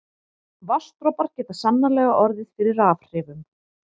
Vatnsdropar geta sannarlega orðið fyrir rafhrifum.